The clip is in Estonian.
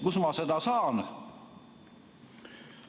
Kust ma seda teada saan?